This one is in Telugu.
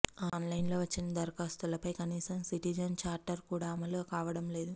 ఆన్లైన్లో వచ్చిన దరఖాస్తులపై కనీసం సిటిజన్ చార్టర్ కూడా అమలు కావడం లేదు